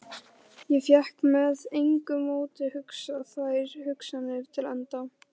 Ég fékk með engu móti hugsað þær hugsanir til enda.